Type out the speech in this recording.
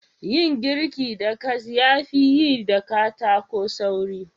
Yin girki da gas ya fi yi da katako sauri.